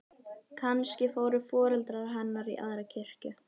Kannski fóru foreldrar hennar í aðra kirkju.